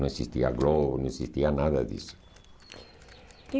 Não existia Globo, não existia nada disso. E